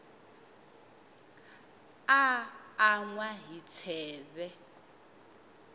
a an wa hi tsheve